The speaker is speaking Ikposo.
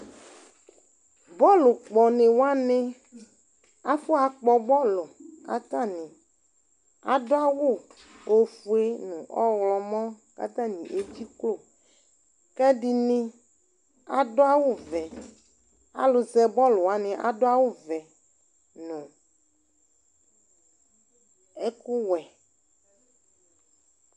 Bɔlupkɔni wani afɔakpɔ bɔlu , katani adʋ awu ofue, nu ɔɣlɔmɔ katani edzikloKɛdini adu awu vɛAlu zɛ bɔlu wani adʋ awu vɛ, nu ɛkʋwɛ